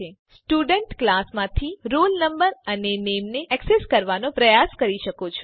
તમે student class માંથી roll no અને નામે ને એક્સેસ કરવાનો પ્રયાસ કરી શકો છો